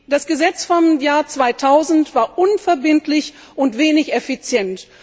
Das Gesetz aus dem Jahr 2000 war unverbindlich und wenig effizient.